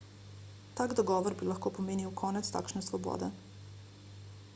tak dogovor bi lahko pomenil konec takšne svobode